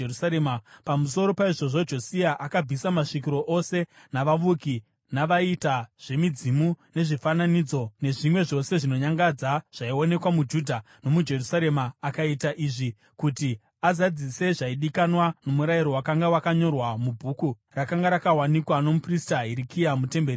Pamusoro paizvozvo, Josia akabvisa masvikiro ose navavuki, navaiita zvemidzimu, nezvifananidzo nezvimwe zvose zvinonyangadza zvaionekwa muJudha nomuJerusarema. Akaita izvi kuti azadzise zvaidikanwa nomurayiro wakanga wakanyorwa mubhuku rakanga rakawanikwa nomuprista Hirikia mutemberi yaJehovha.